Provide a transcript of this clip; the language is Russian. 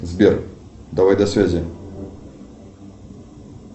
сбер давай до связи